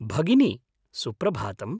भगिनि, सुप्रभातम्।